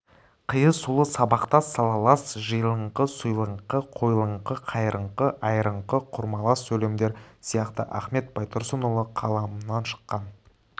қиысулы сабақтас салалас жиылыңқы сұйылыңқы қойылыңқы қайырыңқы айырыңқы құрмалас сөйлемдер сияқты ахмет байтұрсынұлы қаламынан шыққан